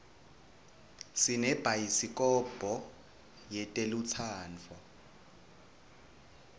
sinemabayisi kobho etelutsandvo